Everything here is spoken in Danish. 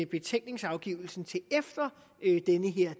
betænkningsafgivelsen til efter